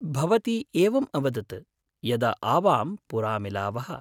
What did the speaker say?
भवती एवम् अवदत् यदा आवाम् पुरा मिलावः।